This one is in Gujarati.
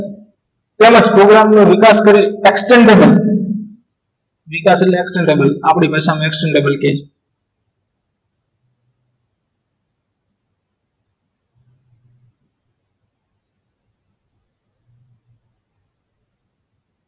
તેમજ પ્રોગ્રામ નો વિકાસ કરી extendable વિકાસ એટલે extendable આપણી ભાષામાં extendable કહે છે અંત